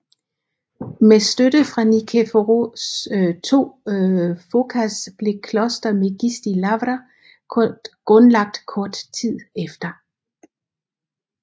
Med støtte fra Nikephoros II Phokas blev Kloster Megisti Lavra grundlagt kort tid efter